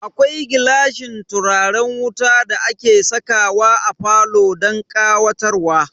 Akwai gilashin turaren wuta da ake sakawa a falo don ƙawatarwa.